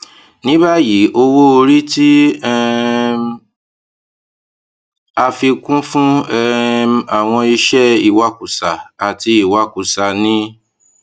nibayi owoori ti um a fi kun fun um awọn iṣẹ iwakusa ati iwakusa ni